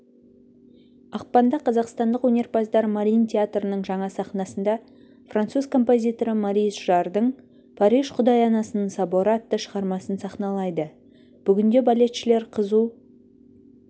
ақпанда қазақстандық өнерпаздар марийн театрының жаңа сахнасында француз композиторы морис жаррдың париж құдай анасының соборы атты шығармасын сахналайды бүгінде балетшілер қызу